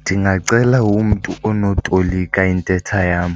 Ndingacela umntu onotolika intetha yam